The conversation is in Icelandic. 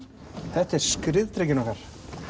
þetta er skriðdrekinn okkar